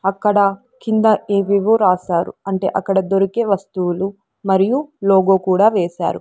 అక్కడ కింద ఏవేవో రాశారు అంటే అక్కడ దొరికే వస్తువులు మరియు లోగో కూడా వేశారు.